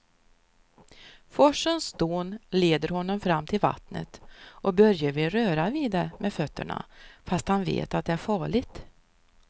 Forsens dån leder honom fram till vattnet och Börje vill röra vid det med fötterna, fast han vet att det är farligt.